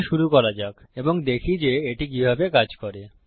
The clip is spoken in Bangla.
তাহলে শুরু করা যাক এবং দেখি যে এটি কিভাবে কাজ করে